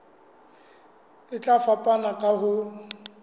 e tla fapana ka ho